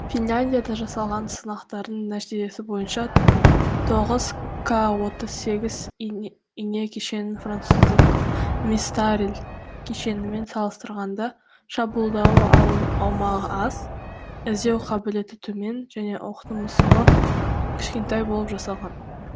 финляндияда жасалған сынақтардың нәтижесі бойынша тоғыз ка отыз сегіз ине кешенінің француздық мистарль кешенімен салыстырғанда шабуылдау аумағ аз іздеу қабілеті төмен және оқтұмысығы кішкентай болып жасалған